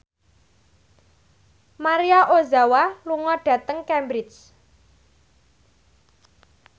Maria Ozawa lunga dhateng Cambridge